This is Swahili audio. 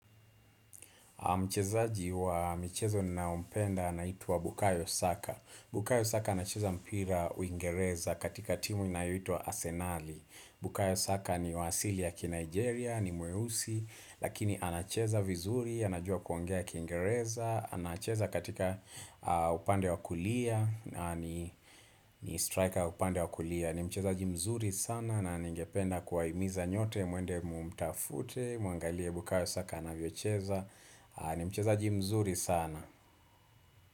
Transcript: Mchezaji wa michezo ninaompenda anaitwa Bukayo Saka. Bukayo Saka anacheza mpira uingereza katika timu inayoitwa Arsenali. Bukayo Saka ni wa asili ya kiNigeria, ni mweusi, lakini anacheza vizuri, anajua kuongea kiingereza. Anacheza katika upande wa kulia, ni striker upande wa kulia. Ni mchezaji mzuri sana na ningependa kuwahimiza nyote muende mumtafute, muangalie Bukayo Saka anavyocheza ni mcheza jimzuri sana.